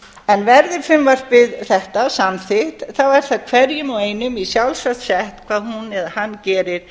að mínu viti verði frumvarp þetta samþykkt er það hverjum og einum í sjálfsvald sett hvað hún eða hann gerir